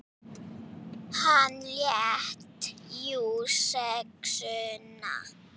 Hann lét jú SEXUNA.